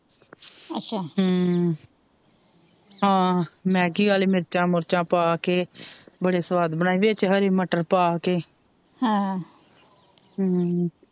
ਅੱਛਾ ਹਮ ਹਾਂ ਮੈਗੀ ਆਲੇ ਮਿਰਚ ਮੁਰਚਾਂ ਪਾਕੇ ਬੜੇ ਸਵਾਦ ਬਣਾਏ ਵਿੱਚ ਹਰੇ ਮਟਰ ਪਾਕੇ ਹ ਹਮ,